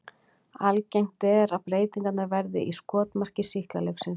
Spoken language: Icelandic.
Algengt er að breytingarnar verði í skotmarki sýklalyfsins.